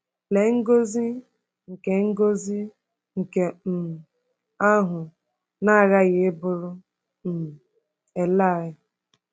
Lee ngọzi nke ngọzi nke um ahụ na-aghaghị ịbụụrụ um Elaị!